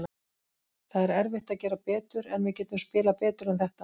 Það er erfitt að gera betur, en við getum spilað betur en þetta.